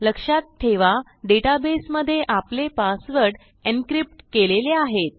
लक्षात ठेवा डेटाबेसमधे आपले पासवर्ड एन्क्रिप्ट केलेले आहेत